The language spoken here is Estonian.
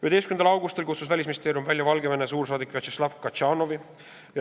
11. augustil kutsus Välisministeerium välja Valgevene suursaadiku Vjatšeslav Katšanovi.